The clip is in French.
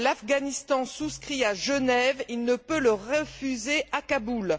Ce que l'Afghanistan souscrit à Genève, il ne peut le refuser à Kaboul.